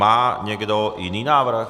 Má někdo jiný návrh?